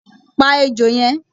Pá ejò yẹn!